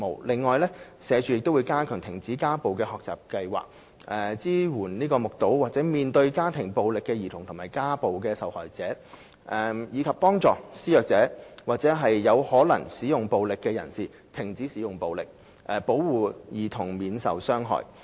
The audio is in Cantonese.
此外，社署會加強停止家暴的學習計劃，支援目睹或面對家庭暴力的兒童和家暴受害者，以及幫助施虐者或有可能使用暴力的人士停止使用暴力，保護兒童免受傷害。